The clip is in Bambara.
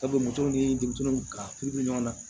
Sabu moto ni denmisɛnninw ka furu bɛ ɲɔgɔn na